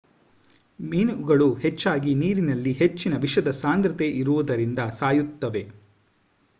ಮೀನುಗಳು ಹೆಚ್ಚಾಗಿ ನೀರಿನಲ್ಲಿ ಹೆಚ್ಚಿನ ವಿಷದ ಸಾಂದ್ರತೆ ಇರುವುದರಿಂದ ಸಾಯುತ್ತವೆ